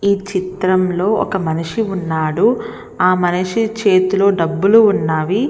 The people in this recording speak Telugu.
ఈ చిత్రంలోని ఒక మనిషి ఉన్నాడు ఆ మనిషి చేతిలోని డబ్బులు ఉన్నవి .